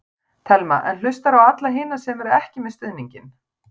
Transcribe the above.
Telma: En hlustarðu á alla hina sem eru ekki með stuðninginn?